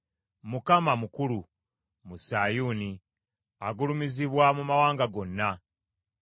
Mukama mukulu mu Sayuuni; agulumizibwa mu mawanga gonna.